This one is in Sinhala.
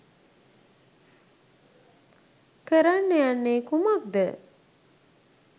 කරන්න යන්නේ කුමක්ද?